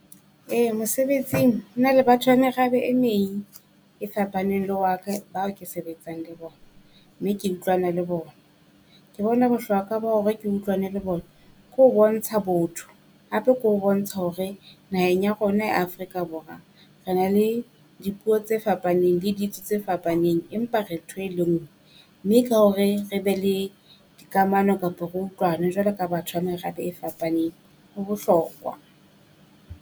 Ee mosebetsing ho na le batho ba merabe e meng e fapaneng le wa ka bao ke sebetsang le bona. Mme ke utlwana le bona. Ke bona bohlokwa ba bo hore ke utlwane le bona ke ho bontsha botho. Hape ke ho bontsha hore naheng ya rona ya Afrika Borwa re na le dipuo tse fapaneng le ditso tse fapaneng, empa re ntho e le ngwe. Mme ka hore re be le dikamano kapa ro utlwane jwalo ka batho ba merabe e fapaneng, ho bohlokwa.